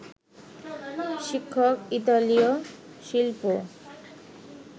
শিক্ষক ইতালীয় শিল্পী